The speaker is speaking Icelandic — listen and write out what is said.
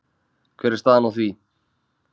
Hver er staðan á því?